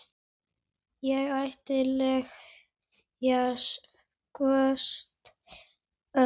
Ég átti tveggja kosta völ.